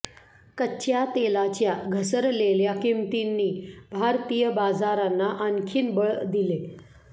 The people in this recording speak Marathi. कच्च्या तेलाच्या घसरलेल्या किमतींनी भारतीय बाजारांना आणखीन बळ दिले